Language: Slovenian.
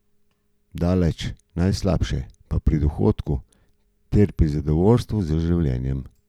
Daleč najslabše pa pri dohodku ter pri zadovoljstvu z življenjem.